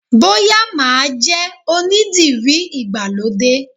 Bóyá máa jẹ́ onídìrí ìgbàlódé